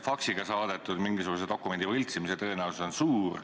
Faksiga saadetud dokumendi võltsimise tõenäosus on aga suur.